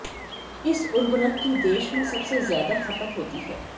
इस उर्वरक की देश में सबसे ज्यादा खपत होती है